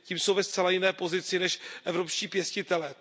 Tím jsou ve zcela jiné pozici než evropští pěstitelé.